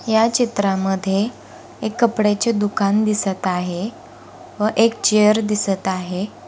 या चित्रामध्ये एक कपड्याचे दुकान दिसत आहे व एक चेअर दिसत आहे.